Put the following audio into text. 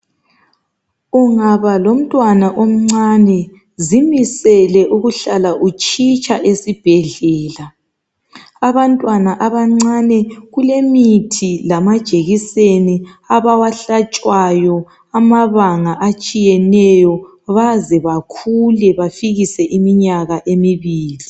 Ungaba lomntwana omncane zimisele ukuhlala utshitsha esibhedlela..Abantwana abancane kulemithi lamajekiseni abawahlatshwayo amabanga atshiyeneyo .Baze bakhule bafikise iminyaka emibili .